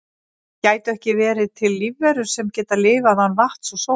gætu ekki verið til lífverur sem geta lifað án vatns og sólar